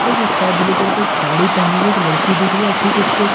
और एक sky blue colour के एक साड़ी पहनी हुई एक लड़की दिख रही है और ठीक उसके --